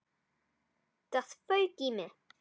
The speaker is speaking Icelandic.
Það fauk í mig.